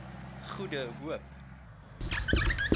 goede hoop